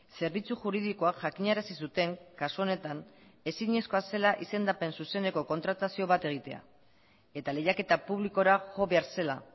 zerbitzu juridikoak jakinarazi zuten kasu honetan ezinezkoa zela izendapen zuzeneko kontratazio bat egitea eta lehiaketa publikora jo behar zela